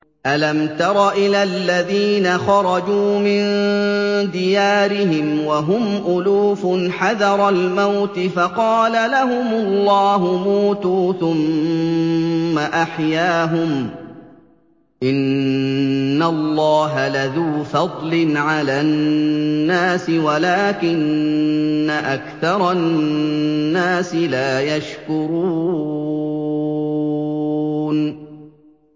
۞ أَلَمْ تَرَ إِلَى الَّذِينَ خَرَجُوا مِن دِيَارِهِمْ وَهُمْ أُلُوفٌ حَذَرَ الْمَوْتِ فَقَالَ لَهُمُ اللَّهُ مُوتُوا ثُمَّ أَحْيَاهُمْ ۚ إِنَّ اللَّهَ لَذُو فَضْلٍ عَلَى النَّاسِ وَلَٰكِنَّ أَكْثَرَ النَّاسِ لَا يَشْكُرُونَ